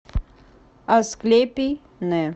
асклепий н